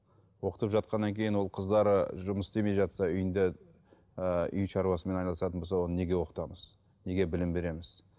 оқытып жатқаннан кейін ол қыздары жұмыс істемей жатса үйінде ыыы үй шаруасымен айналысатын болса оны неге оқытамыз неге білім береміз